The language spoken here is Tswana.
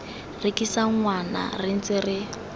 rekisa ngwana re ntse re